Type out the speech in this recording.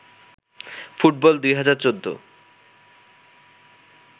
football ২০১৪